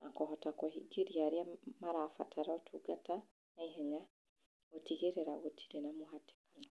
na kũhota kũhingĩria arĩa marabatara ũtungata naihenya, gũtigĩrĩra gũtirĩ na mũhatĩkano.